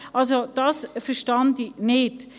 Also das verstehe ich nicht.